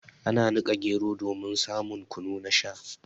Ana nika gero domin samun kunu na Sha.